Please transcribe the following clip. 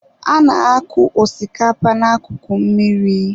A na-akụ osikapa na akụkụ mmiri.